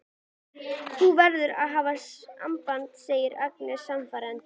Þú verður að hafa samband, segir Agnes sannfærandi.